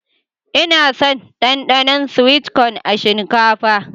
Ina son Danɗanon "sweet corn" a shinkafa.